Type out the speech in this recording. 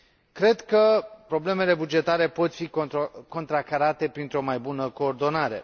Cred că problemele bugetare pot fi contracarate printr o mai bună coordonare.